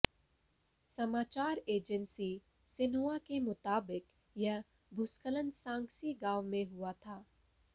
समाचार agency Xinhua के मुताबिक यह भूस्खलन सांक्सी गांव में हुआ था